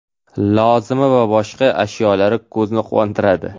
lozimi va boshqa ashyolar ko‘zni quvontiradi.